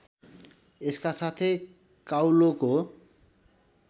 यसका साथै काउलोको